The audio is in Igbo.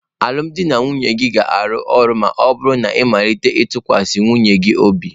Alụmdi na nwunye gị ga-arụ ọrụ ma ọ bụrụ na ị malite ịtụkwasị nwunye gị obi.